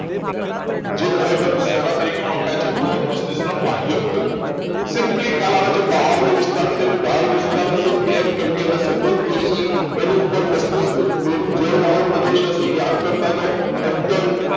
જે ખરેખર શેના તરીકે ઓળખાય છે બૃહદ મસ્તિષ્કના બાહ્યક તરીકે simply ખ્યાલ આવે છે બહારનો વિસ્તાર છે ગાઢ વિસ્તાર હશે કેમ કેમ કે એને support જોઈશે એની ઉપર મસ્તિષ્ક બુરું જળવાળો પ્રદેશ હશે યાદ કરતા જાઓ અંતન